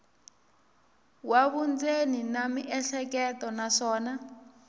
wa vundzeni na miehleketo naswona